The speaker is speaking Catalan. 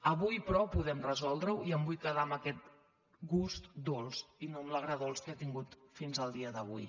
avui però podem resoldre·ho i em vull quedar amb aquest gust dolç i no amb l’agre·dolç que he tingut fins al dia d’avui